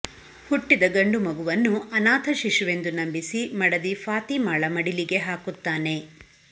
ಹುಟ್ಟಿದ ಗಂಡುಮಗುವನ್ನು ಅನಾಥ ಶಿಶುವೆಂದು ನಂಬಿಸಿ ಮಡದಿ ಫಾತೀಮಳ ಮಡಿಲಿಗೆ ಹಾಕುತ್ತಾನೆ